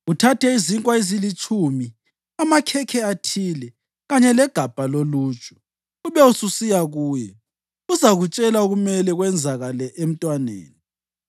Uthathe izinkwa ezilitshumi, amakhekhe athile kanye legabha loluju, ube ususiya kuye. Uzakutshela okumele kwenzakale emntwaneni.”